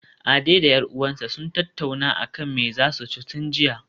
Ade da 'yar uwarsa sun tattauna akan me zasu ci tun jiya